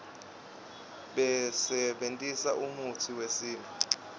basebentisa umutsi wesintfu